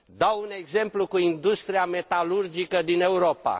Dau ca exemplu industria metalurgică din Europa.